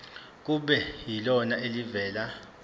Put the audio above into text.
kube yilona elivela